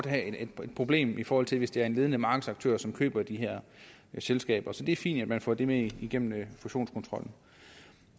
have et problem i forhold til hvis det er en ledende markedsaktør som køber de her selskaber så det er fint at man får det med igennem fusionskontrollen